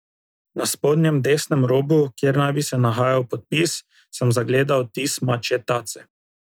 Na spodnjem desnem robu, kjer naj bi se nahajal podpis, sem zagledal odtis mačje tace.